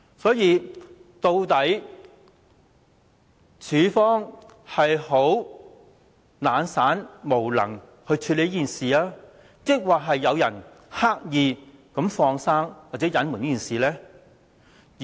所以，究竟當局在處理這事情上是懶散、無能，抑或是有人刻意"放生"或隱瞞？